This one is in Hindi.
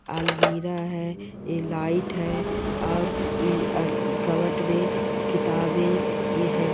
अलमीरा है ये लाइट है और कपबोर्ड में किताबे है।